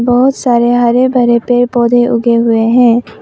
बहुत सारे हरे भरे पेड़ पौधे उगे हुए हैं।